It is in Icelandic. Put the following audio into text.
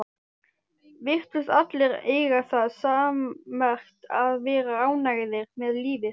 Virtust allir eiga það sammerkt að vera ánægðir með lífið.